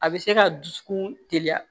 A bɛ se ka dusukun teliya